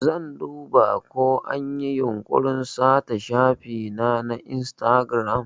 Zan duba ko anyi yunkurin sata shafina na Instagram.